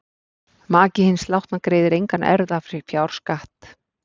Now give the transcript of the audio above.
Maki hins látna greiðir engan erfðafjárskatt.